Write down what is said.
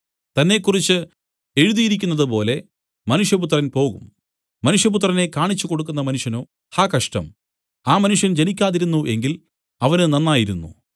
തന്നെക്കുറിച്ച് എഴുതിയിരിക്കുന്നതുപോലെ മനുഷ്യപുത്രൻ പോകും മനുഷ്യപുത്രനെ കാണിച്ചു കൊടുക്കുന്ന മനുഷ്യനോ ഹാ കഷ്ടം ആ മനുഷ്യൻ ജനിക്കാതിരുന്നു എങ്കിൽ അവന് നന്നായിരുന്നു